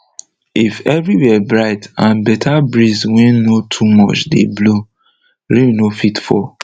if everywhere bright and better breeze wey no too much dey blow rain no fit fall